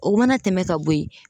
O mana tɛmɛ ka bo yen